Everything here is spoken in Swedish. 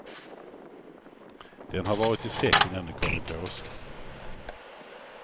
Den har varit i säck innan den kom i påse.